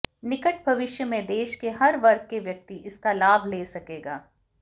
निकट भविष्य में देश के हर वर्ग के व्यक्ति इसका लाभ ले सकेगा